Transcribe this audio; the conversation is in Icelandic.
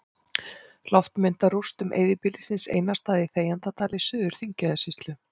Loftmynd af rústum eyðibýlisins Einarsstaða í Þegjandadal í Suður-Þingeyjarsýslu.